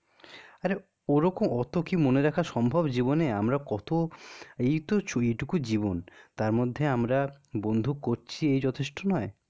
আরে ওরকম অত কি মনে রাখা সম্ভব? জীবনে আমরা কত ইয় তো এটুকু জীবন তারমধ্যে, আমরা বন্ধু করছি এই যথেষ্ট নয়?